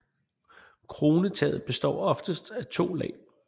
Kronetaget består oftest af to lag